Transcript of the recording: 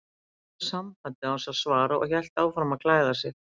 Hann rauf sambandið án þess að svara og hélt áfram að klæða sig.